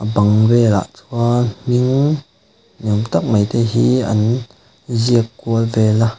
bang velah chuan hming ni awm tak mai te hi an ziak kual vel a.